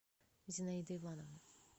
зинаиды ивановны